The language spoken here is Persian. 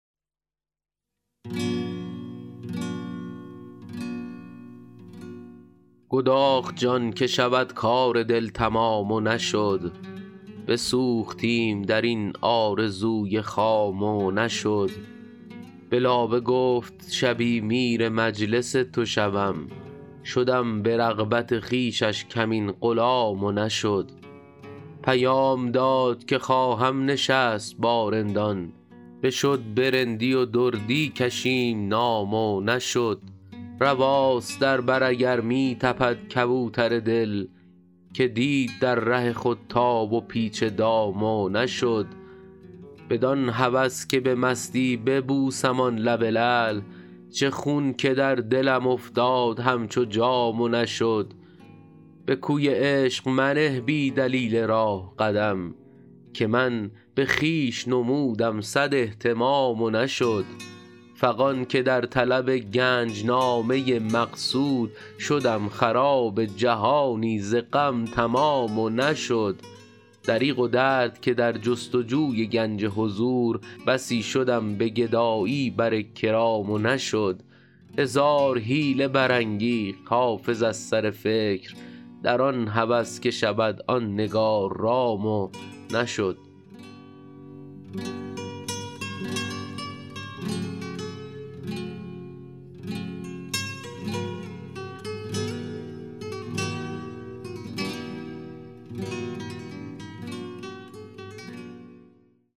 گداخت جان که شود کار دل تمام و نشد بسوختیم در این آرزوی خام و نشد به لابه گفت شبی میر مجلس تو شوم شدم به رغبت خویشش کمین غلام و نشد پیام داد که خواهم نشست با رندان بشد به رندی و دردی کشیم نام و نشد رواست در بر اگر می تپد کبوتر دل که دید در ره خود تاب و پیچ دام و نشد بدان هوس که به مستی ببوسم آن لب لعل چه خون که در دلم افتاد همچو جام و نشد به کوی عشق منه بی دلیل راه قدم که من به خویش نمودم صد اهتمام و نشد فغان که در طلب گنج نامه مقصود شدم خراب جهانی ز غم تمام و نشد دریغ و درد که در جست و جوی گنج حضور بسی شدم به گدایی بر کرام و نشد هزار حیله برانگیخت حافظ از سر فکر در آن هوس که شود آن نگار رام و نشد